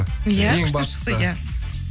ия күшті шықты ия